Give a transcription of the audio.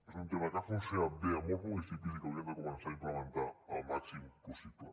és un tema que ha funcionat bé a molts municipis i que hauríem de començar a implementar el màxim possible